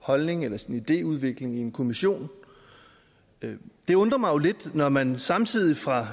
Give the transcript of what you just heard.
holdning eller sin idéudvikling i en kommission det undrer mig jo lidt når man samtidig fra